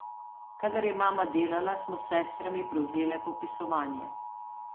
Kadar je mama delala, smo s sestrami prevzele popisovanje.